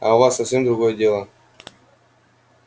а у вас совсем другое дело